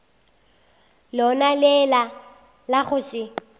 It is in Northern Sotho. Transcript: lona le la go se